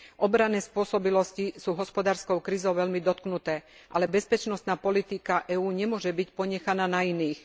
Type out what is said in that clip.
Obranné spôsobilosti sú hospodárskou krízou veľmi dotknuté, ale bezpečnostná politika EÚ nemôže byť ponechaná na iných.